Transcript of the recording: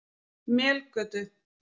Melgötu